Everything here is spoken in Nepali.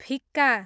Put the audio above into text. फिक्का